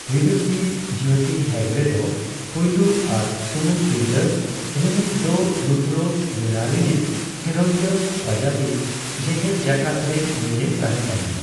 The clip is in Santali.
ᱵᱤᱫᱩᱥᱤ ᱡᱽᱭᱳᱛᱤ ᱦᱮᱜᱽᱲᱮ ᱫᱚ ᱯᱩᱭᱞᱩ ᱟᱨ ᱥᱩᱢᱩᱝ ᱛᱤᱨᱞᱟᱹ ᱨᱤᱱᱤᱡ ᱫᱚ ᱨᱩᱫᱽᱨᱚ ᱣᱤᱬᱟ ᱨᱤᱱᱤᱡ ᱠᱷᱤᱞᱚᱱᱰᱤᱭ ᱵᱟᱡᱟᱣᱤᱡ ᱡᱮᱜᱮᱛ ᱡᱟᱠᱟᱛ ᱨᱮ ᱱᱩᱭ ᱮ ᱛᱟᱦᱮᱸᱜ ᱠᱟᱱᱟᱭ ᱾